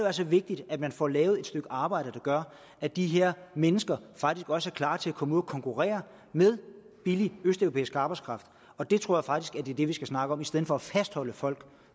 altså vigtigt at man får lavet et stykke arbejde der gør at de her mennesker faktisk også er klar til at komme ud og konkurrere med billig østeuropæisk arbejdskraft jeg tror faktisk det er det vi skal snakke om i stedet for at fastholde folk